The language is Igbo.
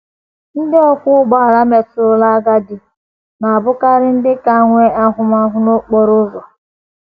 Ndị ọkwọ ụgbọala metụrụla agadi na - abụkarị ndị ka nwee ahụmahụ n’okporo ụzọ.